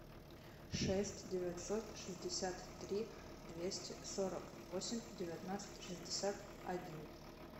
шесть девятьсот шестьдесят три двести сорок восемь девятнадцать шестьдесят один